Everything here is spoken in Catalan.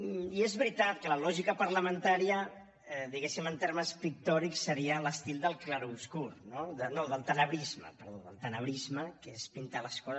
i és veritat que la lògica parlamentària diguem ne en termes pictòrics seria l’estil del clarobscur no no del tenebrisme perdó del tenebrisme que és pintar les coses